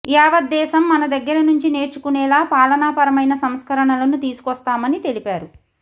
యావత్ దేశం మన దగ్గర నుంచి నేర్చుకునేలా పాలనాపరమైన సంస్కరణలను తీసుకొస్తామని తెలిపారు